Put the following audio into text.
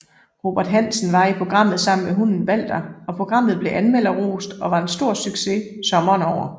Robert Hansen var i programmet sammen med hunden Walther og programmet blev anmmelderrost og var en stor succes sommeren over